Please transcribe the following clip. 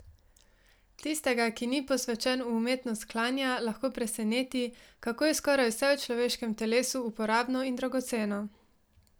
Tistega, ki ni posvečen v umetnost klanja, lahko preseneti, kako je skoraj vse v človeškem telesu uporabno in dragoceno.